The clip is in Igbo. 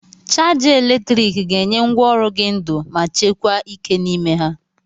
Chaja eletrik ga-enye ngwaọrụ gị ndu ma chekwa ike n'ime ha.